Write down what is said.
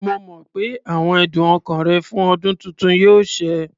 Mo mọ̀ pé àwọn ẹ̀dùn ọkàn rẹ fún ọdún tuntun yóò ṣẹ.